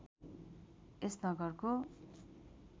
यस नगरको